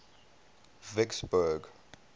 vicksburg